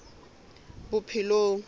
bophelong